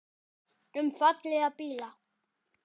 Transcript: Um fallega bíla.